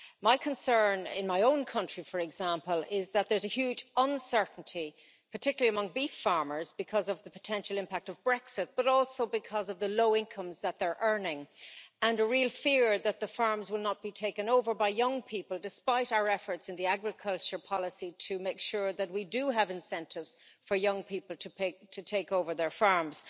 My concern, in my own country for example, is that there is a huge uncertainty, particularly among beef farmers, because of the potential impact of Brexit, but also because of the low incomes that they are earning and a real fear that their firms will not be taken over by young people, despite our efforts in agriculture policy to make sure that we do have incentives for young people to take over their farms.